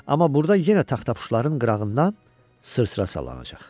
Amma burda yenə taxtapuşların qırağından sırsıra salanacaq.